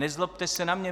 Nezlobte se na mě.